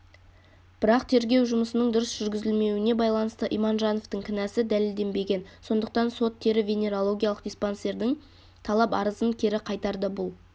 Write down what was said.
бірақ тергеу жұмысының дұрыс жүргізілмеуіне байланысты иманжановтың кінәсі дәлелденбеген сондықтан сот-тері-венерологиялық диспансердің талап-арызын кері қайтарды бұл